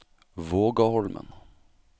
Vågaholmen